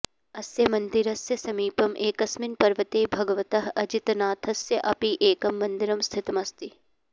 अस्य मन्दिरस्य समीपम् एकस्मिन् पर्वते भगवतः अजितनाथस्य अपि एकं मन्दिरं स्थितमस्ति